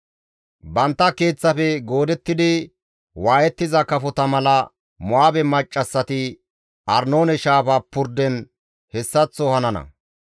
Bantta keeththafe goodettidi waayettiza kafota mala Mo7aabe maccassati Arnoone shaafa purden hessaththo hanana.